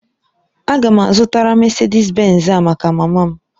Aga m azụtara Mesedis Benz a maka mama m